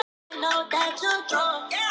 Það mun skapa aukinn kostnað.